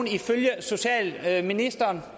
er ifølge socialministeren